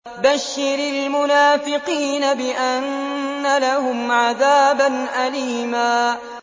بَشِّرِ الْمُنَافِقِينَ بِأَنَّ لَهُمْ عَذَابًا أَلِيمًا